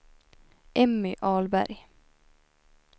Emmy Ahlberg